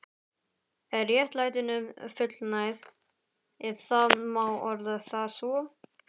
Er réttlætinu fullnægt, ef það má orða það svo?